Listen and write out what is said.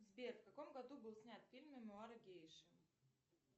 сбер в каком году был снят фильм мемуары гейши